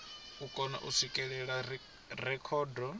o kona u swikelela rekhodo